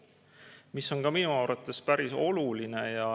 See on ka minu arvates päris oluline.